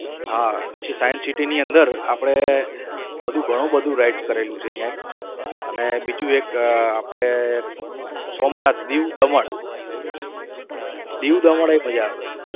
હા પછી science city ની અંદર આપણે બધું ઘણુ બધું કરેલું છે અહીંયા અને બીજું એક આપણે સોમનાથ દીવ દમન દીવ દમનએ મજા આવે.